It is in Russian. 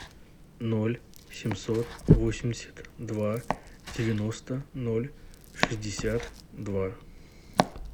ноль семьсот восемьдесят два девяносто ноль шестьдесят два